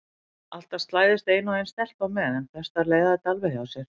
Alltaf slæðist ein og ein stelpa með en flestar leiða þetta alveg hjá sér.